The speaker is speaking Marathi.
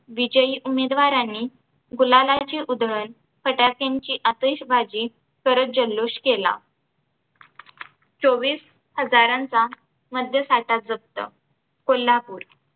विजयी उमेदवारांनी गुलालाची उधळण फटाक्यांची आतषबाजी करत जल्लोष केला. चोवीस हजारांचा मद्यसाठा जप्त कोल्हापूर